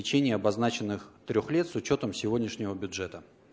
лечение обозначенных трёх лет с учётом сегодняшнего бюджета